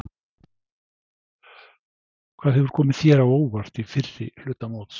Hvað hefur komið þér á óvart í fyrri hluta móts?